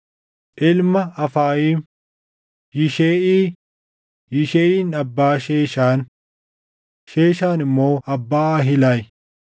Ilma Afayiim: Yisheʼii; Yisheʼiin abbaa Sheeshaan. Sheeshaan immoo abbaa Ahilayi.